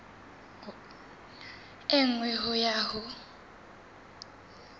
e nngwe ho ya ho